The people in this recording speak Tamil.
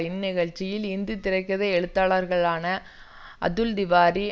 இந்நிகழ்ச்சியில் இந்தி திரை கதை எழுத்தாளர்களான அதுல் திவாரி